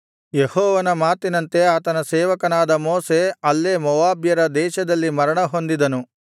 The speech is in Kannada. ಯೆಹೋವನ ಮಾತಿನಂತೆ ಆತನ ಸೇವಕನಾದ ಮೋಶೆ ಅಲ್ಲೇ ಮೋವಾಬ್ಯರ ದೇಶದಲ್ಲಿ ಮರಣ ಹೊಂದಿದನು